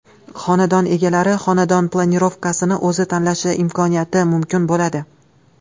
Xonadon egalari xonadon planirovkasini o‘zi tanlashi imkoniyati mumkin bo‘ladi.